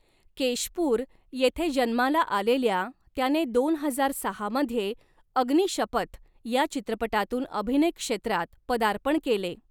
केशपूर येथे जन्माला आलेल्या त्याने दोन हजार सहा मध्ये अग्नीशपथ या चित्रपटातून अभिनय क्षेत्रात पदार्पण केले.